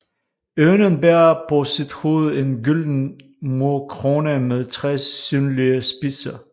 Ørnen bærer på sit hoved en gylden murkrone med tre synlige spidser